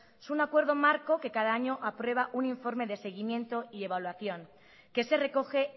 es un acuerdo marco que cada año aprueba un informe de seguimiento y evaluación que se recoge